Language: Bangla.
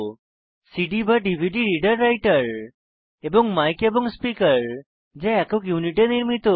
cdডিভিডি রিডার রাইটার এবং মাইক এবং স্পিকার যা একক ইউনিটে নির্মিত